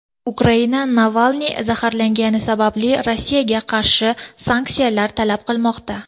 Ukraina Navalniy zaharlangani sababli Rossiyaga qarshi sanksiyalar talab qilmoqda.